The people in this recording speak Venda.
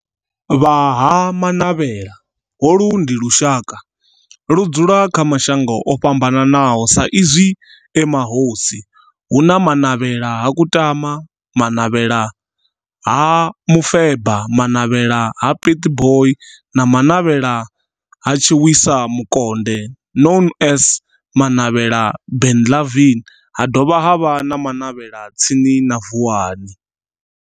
Vha ha Manavhela, holu ndi lushaka ludzula kha mashango ofhambanaho sa izwi e mahosi, hu na Manavhela ha Kutama, Manavhela ha Mufeba, Manavhela ha Pietboi na Manavhela ha Tshiwisa Mukonde known as Manavhela Benlavin, ha dovha havha na Manavhela tsini na Vuwani.